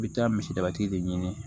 I bɛ taa misi daba tigi de ɲini